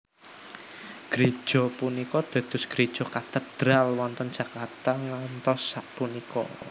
Gréja punika dados gréja Katedral wonten Jakarta ngantos sapunika